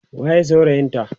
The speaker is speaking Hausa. waye saurayin ta?